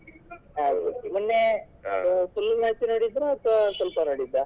ಹೌದು ಮೊನ್ನೆ full match ನೋಡಿದ್ರಾ ಅಥವಾ ಸ್ವಲ್ಪ ನೋಡಿದ್ದಾ?